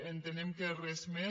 entenem que res més